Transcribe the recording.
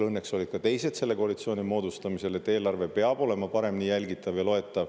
Õnneks olid ka teised selle koalitsiooni moodustamisel samal arvamusel, et eelarve peab olema paremini jälgitav ja loetav.